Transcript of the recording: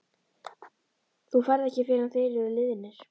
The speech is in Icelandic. Þú ferð ekki fyrr en þeir eru liðnir.